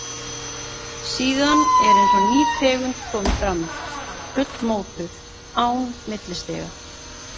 Síðan er eins og ný tegund komi fram, fullmótuð, án millistiga.